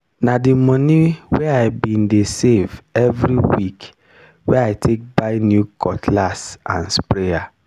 na di moni wey i bin dey save every week wey i take buy new cutlass and sprayer.